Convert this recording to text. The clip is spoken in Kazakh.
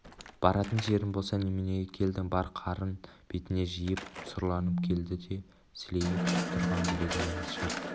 баратын жерің болса неменеге келдің бар қарын бетіне жиып сұрланып келді де сілейіп тұрған білегінен шап